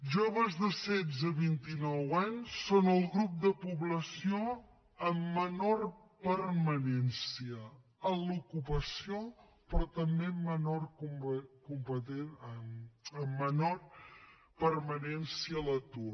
joves de setze a vint i nou anys són el grup de població amb menor permanència a l’ocupació però també amb menor permanència a l’atur